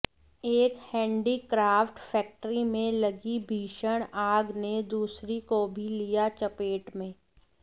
एक handicraft factory में लगी भीषण आग ने दूसरी को भी लिया चपेट में